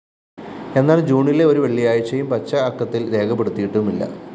എന്നാല്‍ ജൂണിലെ ഒരുവെള്ളിയാഴ്ചയും പച്ചഅക്കത്തില്‍ രേഖപ്പെടുത്തിയിട്ടുമില്ല